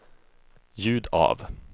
ljud av